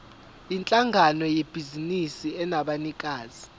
yinhlangano yebhizinisi enabanikazi